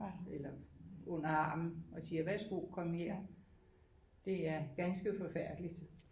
Eller under armen og siger værsgo kom her det er ganske forfærdeligt